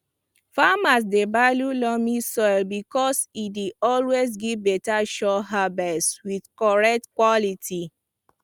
farmers dey value loamy soil because e dey always give beta sure harvest with correct quality